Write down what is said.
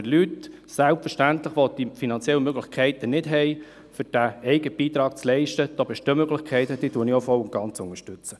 Für Leute, die die finanziellen Möglichkeiten nicht haben, den eigenen Beitrag zu leisten, bestehen selbstverständlich Möglichkeiten, welche ich voll und ganz unterstütze.